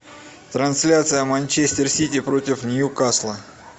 трансляция манчестер сити против ньюкасла